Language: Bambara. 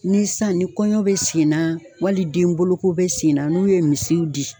Ni san ni kɔɲɔ be senna wali den boloko be sen na n'u ye misiw di